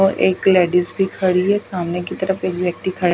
और एक लेडिस भी खड़ी है सामने की तरफ एक व्यक्ति खड़ा--